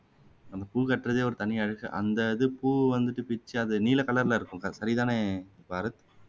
அந்த பூ கட்டுறதே தனி அழகு அந்த இது பூ வந்துட்டு பிச்சு நீல கலர்ல இருக்கும் சரி தானே பாரத்